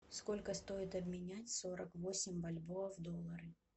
сколько стоит обменять сорок восемь бальбоа в доллары